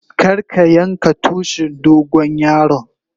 Kar ka yanka Tushin dogon yaron.